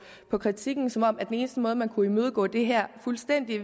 på kritikken som om den eneste måde man kunne imødegå det her fuldstændig